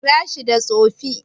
Kira shi da Tsofi.